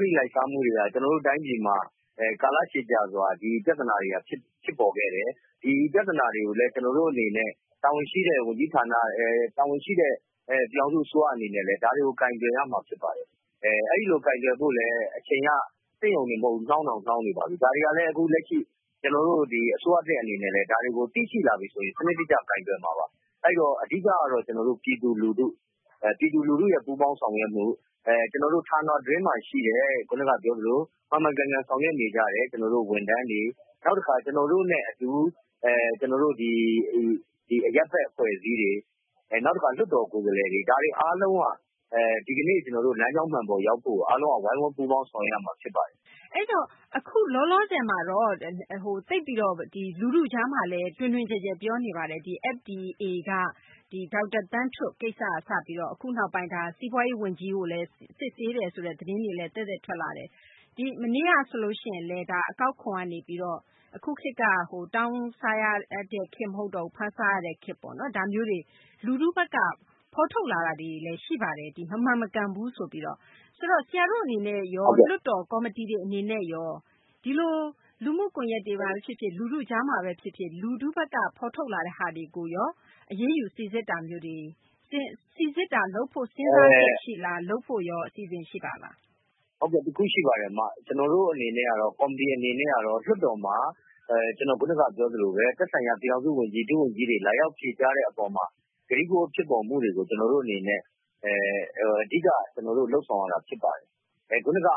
တိလိုက်စားမှုတွေက ကျနော်တို့တိုင်းပြည်မှာ ကာလရှည်ကြာစွာ ဒီပြဿနာတွေက ဖြစ်ပေါ်ခဲ့တယ်။ ဒီပြဿနာတွေကို ကျနော်တို့ တာဝန်ရှိတဲ့ ဝန်ကြီးဌာနတွေအနေနဲ့ ပြည်သူ့အစိုးရအနေနဲ့ ဒါတွေကို ကိုင်တွယ်ရမှာ ဖြစ်ပါတယ် အဲဒီလိုကိုင်တွယ်ဖို့ အချိန်က နှောင်းတောင်နှောင်းနေပါပြီ။ ကျနော်တို့ အစိုးရသစ်အနေနဲ့လည်း ဒါတွေကို သိရှိလာပြီဆိုရင် စနစ်တကျကိုင်တွယ်ရမယ် အဓိကတော့ ပြည်သူလူထုရဲ့ ပူးပေါင်းဆောင်ရွက်မှု ကျနော်တို့ ဌာနအတွင်းမှာရှိတဲ့ မှန်မှန်ကန်ကန်ဆောင်ရွက်နေကြတဲ့ ဝန်ထမ်းတွေ နောက်တခါ ကျနော်တို့နဲ့အတူ ဒီအရပ်ဖက်အဖွဲ့အစည်းတွေ ကိုယ်စားလှယ်တွေ ဒါတွေအားလုံးက လက်ရှိကျနော်တို့ လမ်းကြောင်းမှန်ပေါ်ကိုရောက်ဖို့ အားလုံး ဝိုင်းဝန်းပူးပေါင်းဆောင်ရွက်ရမှာဖြစ်ပါတယ်။ အခုလောလောဆည်မှာ လူထုကြားမှာလည်း တွင်တွင်ကျယ်ကျယ်ပြောနေပါတယ်။ FDA က ဒေါက်တာသန်းထွဋ် ကိစ္စနဲ့ပတ်သက်ပြီးတော့ အခုနောက်ပိုင်း စီးပွားရေးဝန်ကြီးကိုလည်း စစ်ဆေးတယ်ဆိုတဲ့ သတင်းတွေလည်း ကြားရတယ်။ မနေ့ကဆိုရင်လည်း အကောက်ခွန်ကနေပြီးတော့ တောင်းစားရတဲ့ခေတ်မဟုတ်တော့ဘူး ဖမ်းစားရတဲ့ခေတ် ဒါမျိုးတွေ ၊လူထုဘက်က ဖော်ထုတ်လာတာတွေရှိပါတယ်။ ဒီမမှန်မကန်ဘူးဆိုပြီးတော့ ဆရာတို့အနေနဲ့ရော လွှတ်တော်အနေနဲ့ရော လူမှုကွန်ယက်တွေမှာဖြစ်ဖြစ် ၊ လူထုကြားမှာဖြစ်ဖြစ် ဖော်ထုတ်လာတဲ့အခါမှာ စိစစ်တာမျိုးတွေလုပ်ဖို့ စဉ်းစားလုပ်ဖို့အစီအစဉ်ရှိပါသလား။ တခုရှိပါတယ် ကျနော်တို့အနေနဲ့ကတော့ ကော်မတီအနေနဲ့ကတော့ လွှတ်တော်မှာ ကျနော်ခုနကပြောသလို သက်ဆိုင်ရာ ပြည်ထောင်စုဝန်ကြီးတွေ၊ ဒုဝန်ကြီးတွေ လာရောက်ဖြေကြားတဲ့အပေါ်မှာ ဖြစ်ပေါ်မှုတွေကို ကျနော်တို့အနေနဲ့ အဓိက ကျနော်တို့ လုပ်ဆောင်ရတာဖြစ်ပါတယ်။ ခုနက သ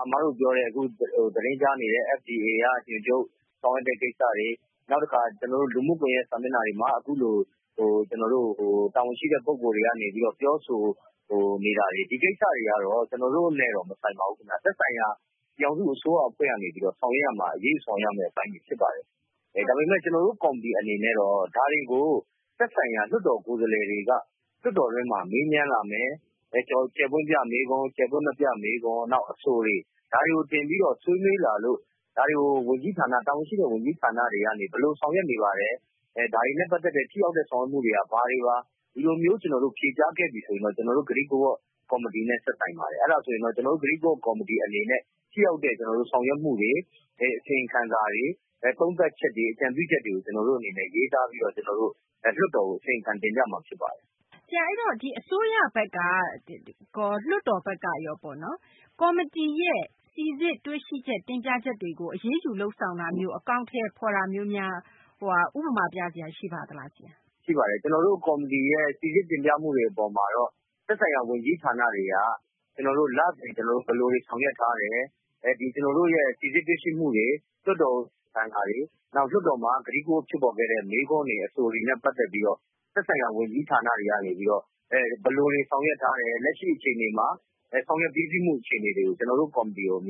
တင်းကြားနေတဲ့ FDA က ညွှန်ချုပ် ဆောင်ရွက်တဲ့ ကိစ္စတွေ ၊ နောက်တခါ လူမှုကွန်ယက်စာမျက်နှာတွေမှာ အခုလို တာဝန်ရှိတဲ့ လူတွေကနေ ပြောဆိုနေတာတွေ ဒီကိစ္စတွေကတော့ ကျနော်တို့နဲ့ မဆိုင်ပါဘူး။ သက်ဆိုင်ရာ ပြည်ထောင်စုအစိုးရအဖွဲ့ကနေပြီးတော့ ဆောင်ရွက်ရမယ့်အပိုင်းတွေဖြစ်ပါတယ်။ ဒါပေမယ့် ကျနော်တို့ ကော်မတီအနေနဲ့တော့ ဒါတွေကို သက်ဆိုင်ရာ လွှတ်တော်ကိုယ်စားလှယ်တွေက လွှတ်တော်အတွင်းမှာ မေးမြန်းလာမယ် ၊နောက် အဆိုတွေ ဒါတွေကိုတင်ပြဆွေးနွေးလာလို့ ဒါတွေကို တာဝန်ရှိဝန်ကြီးဌာနတွေကနေပြီးတော့ ဘယ်လိုဆောင်ရွက်နေသလဲ ဒါတွေနဲ့ ပတ်သက်တဲ့ ထိရောက်တဲ့ဆောင်ရွက်တာတွေက ဘာတွေပါ။ ဒီလိုမျိုး ဖြေတယ်ဆိုရင်တော့ ကျနော်တို့ ကတိကဝတ်ကော်မတီနဲ့ သက်ဆိုင်ပါတယ်။ အဲဒါဆိုရင် ကျနော်တို့ ကတိကဝတ်ကော်မတီအနေနဲ့ ထိရောက်တဲ့ဆောင်ရွက်မှုတွေ အစီရင်ခံစာတွေ သုံးသပ်ချက်တွေ အကြံပြုချက်တွေကို ကျနော်တို့အလေးထားပြီးတော့လွှတ်တော်ကို တင်ပြမှာဖြစ်ပါတယ်။ အဲဒီတော့ အစိုးရဘက်ကရော လွှတ်တော်ဘက်ကရော ကော်မတီရဲ့ စိစစ်တွေ့ရှိတင်ပြချက်တွေကိုလုပ်ဆောင်တာမျိုး အကောင်အထည်ဖော်တာမျိုးများ ဥပမာပြစရာရှိပါသလား။ ရှိပါတယ် ကျနော်တို့ ကော်မတီရဲ့ စီစစ်တွေ့ရှိချက် တင်ပြချက်တွေကို သက်ဆိုင်ရာ ဝန်ကြီးဌာနတွေက သူတို့ ဘယ်လိုတွေဆောင်ရွက်ထားတယ်။ ဒီစိစစ်တွေ့ရှိမှုတွေ လွှတ်တော်ဆိုင်ရာတွေ နောက်လွှတ်တော်မှာ ကတိကဝတ်ဖြစ်ပေါ်ခဲ့တဲ့ မေးခွန်းတွေ အဆိုတွေနဲ့ ပတ်သက်ပြီးတော့ သက်ဆိုင်ရာ ဝန်ကြီးဌာနတွေကနေပြီးတော့ ဘယ်လိုတွေဆောင်ရွက်ထားတယ်။ လက်ရှိအခြေအနေမှာလည်း ဆောင်ရွက်ပြီးစီးမှုအခြေအနေတွေကို ကျနော်တို့ကော်မတီကို အမ